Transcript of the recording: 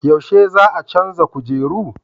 Yaushe za a canza kujeru?